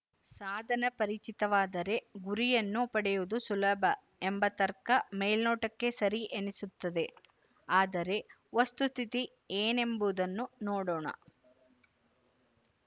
ಸಾಧನ ಪರಿಚಿತವಾದರೆ ಗುರಿಯನ್ನು ಪಡೆಯುವುದು ಸುಲಭ ಎಂಬ ತರ್ಕ ಮೇಲ್ನೋಟಕ್ಕೆ ಸರಿ ಎನ್ನಿಸುತ್ತದೆ ಆದರೆ ವಸ್ತುಸ್ಥಿತಿ ಏನೆಂಬುದನ್ನು ನೋಡೋಣ